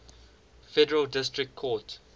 federal district court